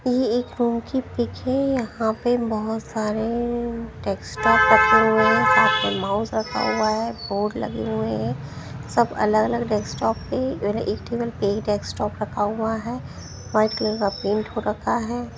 ये एक रूम की पिक है यहां पे बहुत सारे -- टेक्स्टटॉक रखे हुए हैं साथ में माउस लगा हुआ है बोर्ड लगे हुए है सब अलग-अलग डेस्कटॉप पे -- एक टेबल पे एक डेस्कटॉप रखा हुआ है वाइट कलर का पेंट हो रखा है।